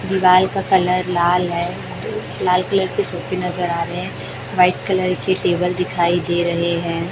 दिवाल का कलर लाल है लाल कलर की स्कुटी नजर आ रहे हैं व्हाइट कलर के टेबल दिखाई दे रहे हैं।